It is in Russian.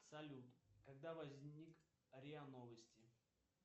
салют когда возник риа новости